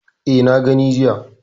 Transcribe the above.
E, na gani jiya.